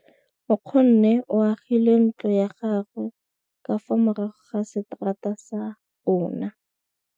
Nkgonne o agile ntlo ya gagwe ka fa morago ga seterata sa rona.